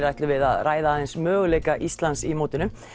ætlum við að ræða aðeins möguleika Íslands í mótinu